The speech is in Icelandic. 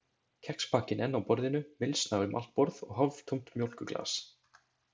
Kexpakkinn enn á borðinu, mylsna um allt borð, og hálftómt mjólkurglas.